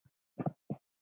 Leggið í fatið.